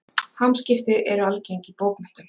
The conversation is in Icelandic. Hamskipti eru algeng í bókmenntum.